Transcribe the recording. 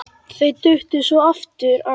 Þau duttu svo oft af.